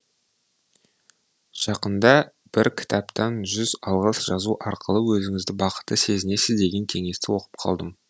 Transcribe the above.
жақында бір кітаптан жүз алғыс жазу арқылы өзіңізді бақытты сезінесіз деген кеңесті оқып қалдым